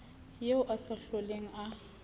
eo a sa hloleng a